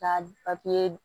K'a papiye d